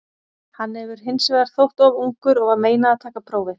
Hann hefur hins vegar þótt of ungur og var meinað að taka prófið.